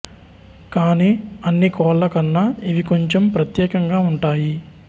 కాని అన్ని కోళ్ల కన్నా ఇవి కొంచె ప్రత్యేకంగా వుంటాయి